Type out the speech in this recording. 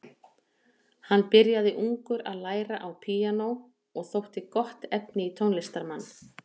Hann byrjaði ungur að læra á píanó og þótti gott efni í tónlistarmann.